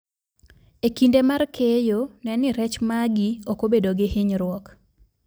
E kinde mar keyo, ne ni rech magi ok obedo gi hinyruok